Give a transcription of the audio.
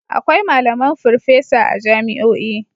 Akwai malaman furffesa a jami'o'i.